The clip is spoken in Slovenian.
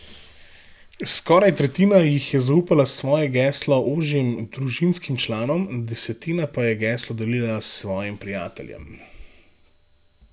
Skoraj tretjina jih je zaupala svoje geslo ožjim družinskim članom, desetina pa je geslo delila s svojim prijateljem.